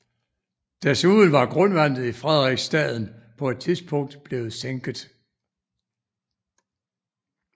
Desuden var grundvandet i Frederiksstaden på et tidspunkt blevet sænket